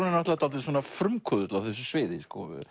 náttúrulega dálítill frumkvöðull á þessu sviði